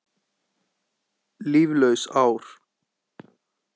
Líflaus ár.